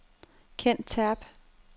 Ken Terp